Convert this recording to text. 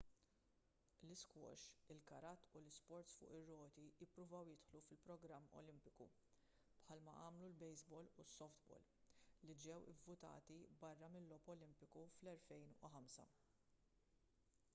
l-isquash il-karate u l-isports fuq ir-roti ppruvaw jidħlu fil-programm olimpiku bħalma għamlu l-baseball u s-softball li ġew ivvutati barra mill-logħob olimpiku fl-2005